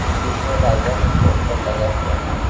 दूल्हे राजा का पोस्टर लगा हुआ है।